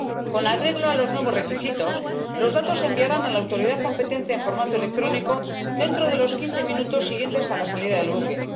Con arreglo a los nuevos requisitos, los datos se enviarán a la autoridad competente en formato electrónico en los quince minutos siguientes a la salida del buque.